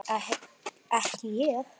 Ekki ég.